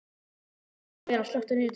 Vera, slökktu á niðurteljaranum.